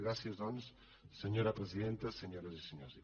gràcies doncs senyora presidenta senyores i senyors diputats